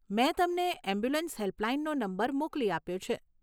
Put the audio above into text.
મે તમને એમ્બ્યુલન્સ હેલ્પલાઈનનો નંબર મોકલી આપ્યો છે.